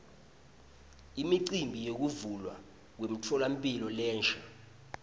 imicimbi yekuvulwa kwemtfolamphilo lensha